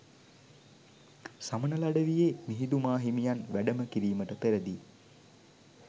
සමනල අඩවියේ මිහිඳු මාහිමියන් වැඩම කිරීමට පෙරදීත්